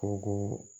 Ko ko